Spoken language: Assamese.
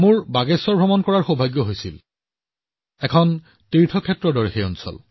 প্ৰধানমন্ত্ৰীঃ পুনমজী মই বাগেশ্বৰলৈ যোৱাৰ সৌভাগ্য লাভ কৰিছো